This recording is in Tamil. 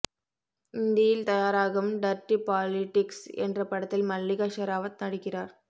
இந்தியில் தயாராகும் டர்டி பாலிடிக்ஸ் என்ற படத்தில் மல்லிகா ஷெராவத் நடிக்கிறார்